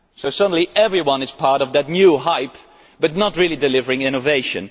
Suddenly everyone will be part of that new hype but not really delivering innovation.